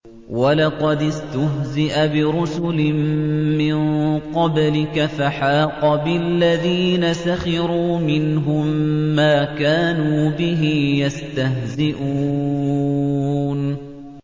وَلَقَدِ اسْتُهْزِئَ بِرُسُلٍ مِّن قَبْلِكَ فَحَاقَ بِالَّذِينَ سَخِرُوا مِنْهُم مَّا كَانُوا بِهِ يَسْتَهْزِئُونَ